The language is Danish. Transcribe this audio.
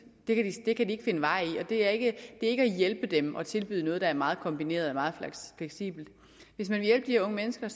det kan de ikke finde vej i og det er ikke at hjælpe dem at tilbyde dem noget der er meget kombineret og meget fleksibelt hvis man vil hjælpe de unge mennesker